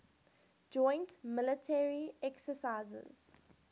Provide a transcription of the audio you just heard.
joint military exercises